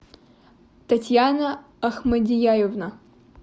татьяна ахмадияевна